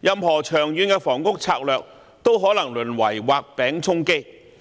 任何長遠房屋策略都可能淪為"畫餅充飢"。